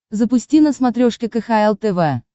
запусти на смотрешке кхл тв